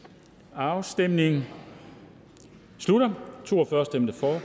afstemningen slutter for stemte to og